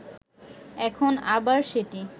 এখন আবার সেটি